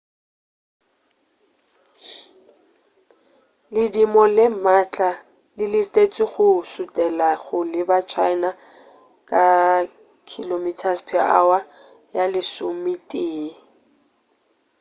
ledimo le maatla le letetšwe go šutela go leba china ka kph ya lesometee